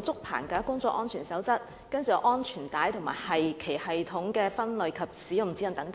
竹棚架工作安全守則》、《安全帶及其繫穩系統的分類與使用指引》等。